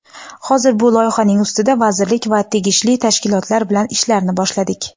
Hozir bu loyihaning ustida vazirlik va tegishli tashkilotlar bilan ishlarni boshladik.